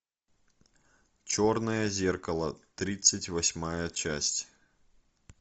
черное зеркало тридцать восьмая часть